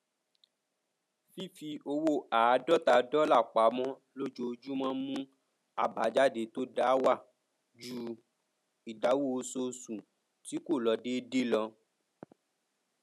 fífi owó àádọta dọlà pamọ lójojúmọ mù àbájáde to da wa ju ìdáwó oṣooṣù tí kò lọ déédéé lọ